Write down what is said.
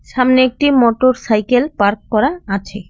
সামনে একটি motorcycle park করা আছে।